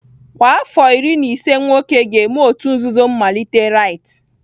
Kwa afọ iri na ise nwoke ga-eme òtù nzuzo mmalite rite!